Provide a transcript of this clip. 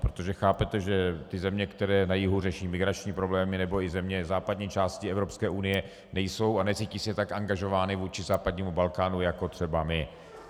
Protože chápete, že ty země, které na jihu řeší migrační problémy, nebo i země západní části Evropské unie nejsou a necítí se tak angažovány vůči západnímu Balkánu jako třeba my.